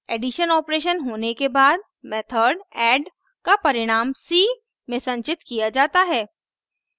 addition operation होने के बाद मेथड add का परिणाम c में संचित किया जाता है